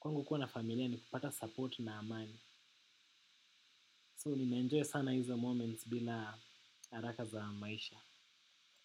Kwangu kuwa na familia ni kupata support na amani So ninaenjoy sana hizo moments bila haraka za maisha.